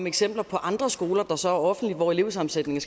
eksempler på andre skoler der så er offentlige og hvor elevsammensætningen